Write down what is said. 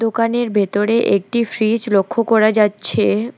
দোকানের ভিতরে একটি ফ্রিজ লক্ষ করা যাচ্ছে।